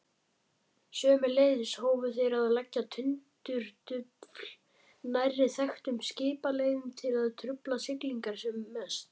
Sömuleiðis hófu þeir að leggja tundurdufl nærri þekktum skipaleiðum til að trufla siglingar sem mest.